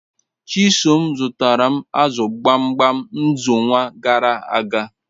Chisom zutara m azu gbamgbam nxonwa garaaga